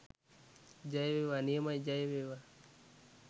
ජය වේවා! නියමයි ජයවේවා!